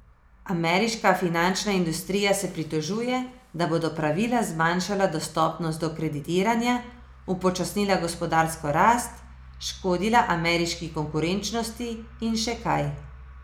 Ameriška finančna industrija se pritožuje, da bodo pravila zmanjšala dostopnost do kreditiranja, upočasnila gospodarsko rast, škodila ameriški konkurenčnosti in še kaj.